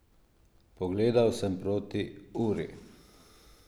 Pogledal sem proti uri.